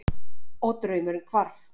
Og draumurinn hvarf.